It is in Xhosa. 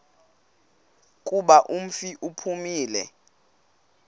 kuba umfi uphumile